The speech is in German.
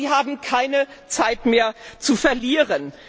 Aber Sie haben keine Zeit mehr zu verlieren.